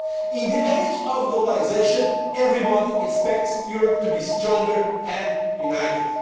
Europe. In the age of globalisation everybody expects Europe to be stronger and